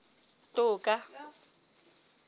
toka